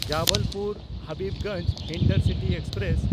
Jabalpur Habibganj intercity express